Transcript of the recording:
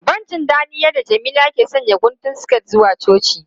Ban ji dadin yadda Jamila ke sanya guntun siket zuwa coci.